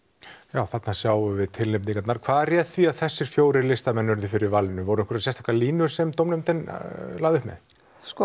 já þarna sjáum við tilefninginarnar hvað réð því að þessir fjórir listamenn urðu fyrir valinu voru einhverjar sérstakar línur sem dómnefndin lagði upp með sko